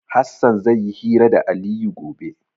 Hassan zai yi hira da Aliyu gobe.